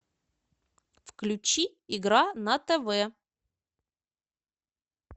включи игра на тв